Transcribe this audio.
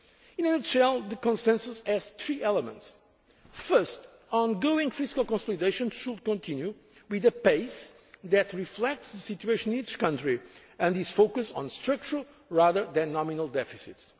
from our citizens! In a nutshell the consensus has three elements First, on going fiscal consolidation should continue at a pace that reflects the situation in each country and is focused on structural rather than